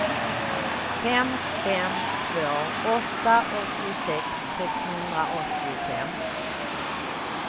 fem fem två åtta åttiosex sexhundraåttiofem